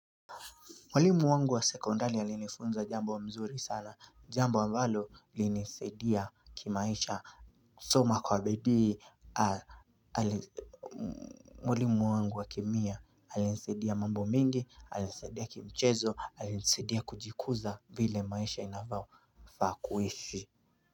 Mwalimu wangu wa sekendari alinifunza jambo mzuri sana. Jambo ambalo limenisaidia kimaisha kusoma kwa bidiii. Mwalimu wangu wa Kemia alinisaidia mambo mengi alinisaidia kimichezo alinisaidia kujikuza vile maisha inafaa kuishi.